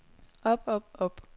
op op op